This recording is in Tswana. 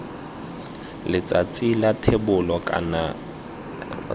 letsatsing la thebolo kana iv